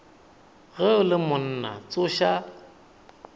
ge o le monna tsoša